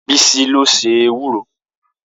Bisi ló se ewúro